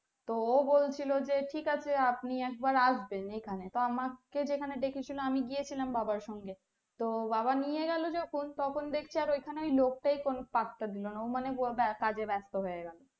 তো ও বলছিলো যে ঠিক আছে আপনি একবার আসবেন এখানে তো আমাকে যেখানে ডেকে ছিল আমি গেছিলাম বাবার সঙ্গে তো বাবা নিয়ে গেলো জখন তখন দেখছি ওখানে ওই লোক টাই কোনো পাত্তা দিলো না ও মানে কাজে বেস্ত হয়ে গেলো